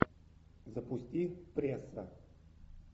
запусти пресса